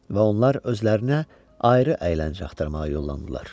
Və onlar özlərinə ayrı əyləncə axtarmağa yollandılar.